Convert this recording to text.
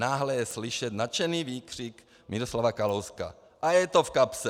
Náhle je slyšet nadšený výkřik Miroslava Kalouska: A je to v kapse!